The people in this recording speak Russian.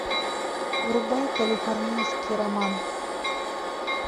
врубай калифорнийский роман